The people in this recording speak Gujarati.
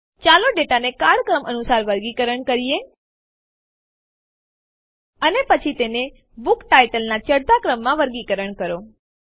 ચાલો ડેટાને કાળક્રમ અનુસાર વર્ગીકરણ કરીએ અને પછી તેને બુક titleનાં ચઢતા ક્રમમાં વર્ગીકરણ કરો